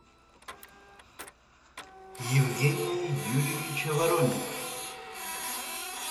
евгения юрьевича воронина